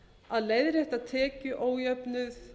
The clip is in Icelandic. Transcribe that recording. að leiðrétta tekjuójöfnuð